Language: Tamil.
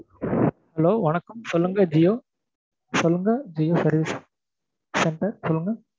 Hello வணக்கம் சொல்லுங்க ஜியோ சொல்லுங்க ஜியோ service center சொல்லுங்க